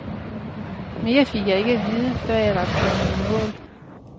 Mere fik jeg ikke at vide, før jeg var kommet i mål.